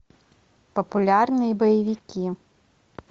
популярные боевики